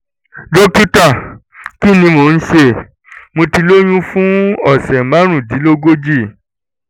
dókítà kí ni mò ń ṣe? mo ti lóyún fún ọ̀sẹ̀ márùndínlógójì